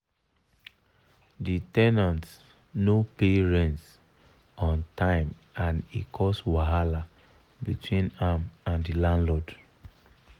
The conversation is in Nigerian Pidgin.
the ten ant no pay rent on time and e cause wahala between am and the landlord.